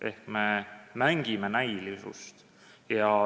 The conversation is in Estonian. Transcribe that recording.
Ehk me mängime näilisust.